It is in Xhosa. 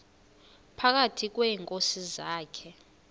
phakathi kweenkosi zakhe